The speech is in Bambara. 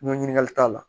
N ko ɲininkali t'a la